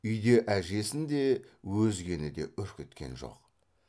үйде әжесін де өзгені де үркіткен жоқ